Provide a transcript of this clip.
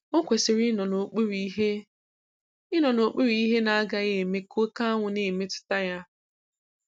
Ọ kwesị̀rị ịnọ n'okpuru ihe ịnọ n'okpuru ihe na-agaghị eme ka òkè anwụ na-emetụta ya.